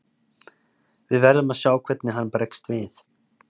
Við verðum að sjá hvernig hann bregst við.